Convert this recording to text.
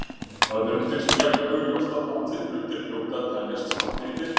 Öðrum finnst jafn augljóst að allir hlutir hljóti að teljast svartir í myrkri.